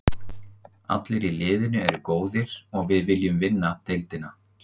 Allir í liðinu eru góðir og við viljum vinna deildina.